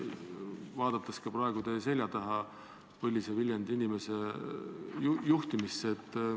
Vaatan praegu ka teie selja taha, kus istub põline Viljandi inimene.